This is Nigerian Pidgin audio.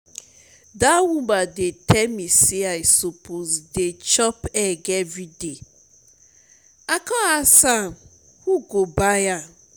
that woman dey tell me say i suppose dey chop egg everyday i come ask am who go dey buy?